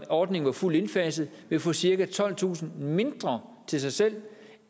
ordning var fuldt indfaset ville få cirka tolvtusind mindre til sig selv